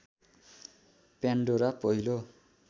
Pandora पहिलो